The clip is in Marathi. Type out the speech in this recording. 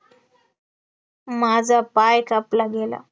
माझा पाय कापला गेला,